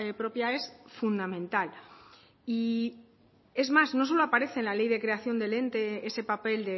propia es fundamental y es más no solo aparece en la ley de creación del ente ese papel